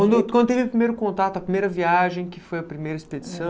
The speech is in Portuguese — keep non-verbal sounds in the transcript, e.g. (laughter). (unintelligible) quando teve o primeiro contato, a primeira viagem, que foi a primeira expedição.